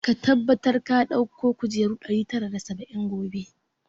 Ka tabbata ka dauko kujeru ɗari tara da saba'in gobe!